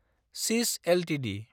सिस एलटिडि